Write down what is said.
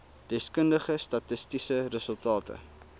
deskundige statistiese resultate